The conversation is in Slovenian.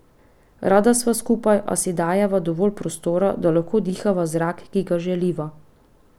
Rada sva skupaj, a si dajeva dovolj prostora, da lahko dihava zrak, ki ga želiva.